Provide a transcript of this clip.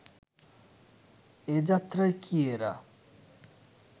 এ যাত্রায় কি এরা